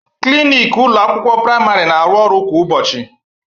Klinik ụlọ akwụkwọ praịmarị na arụ ọrụ kwa ụbọchị